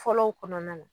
Fɔlɔw kɔnɔna na